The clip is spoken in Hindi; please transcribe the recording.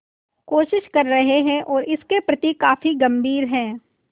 कोशिश कर रहे हैं और वे इसके प्रति काफी गंभीर हैं